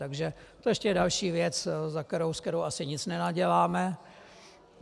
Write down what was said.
Takže to je ještě další věc, se kterou asi nic nenaděláme.